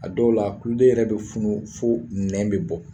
A dɔw la kulo yɛrɛ be funu fo nɛn be bɔ.